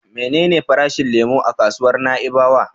Menene farashin lemo a kasuwar Na'ibawa?